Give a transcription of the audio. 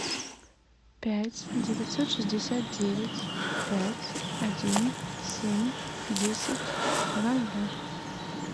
пять девятьсот шестьдесят девять пять один семь десять два ноля